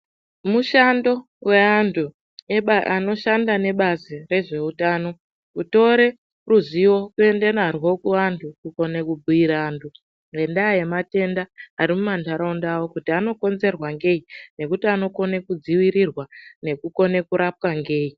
Mushando weanthu anoshanda nebazi rezveutano kutore ruzivo kuenda naryo kuvanthu kune kubhiira vanthu ngendaa yematenda arimuma ntharaunda avo kuti anokonzerwe ngei nekuti anokone kudzivirirwa nekukone kurapwa ngei .